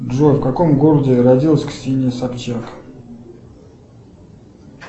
джой в каком городе родилась ксения собчак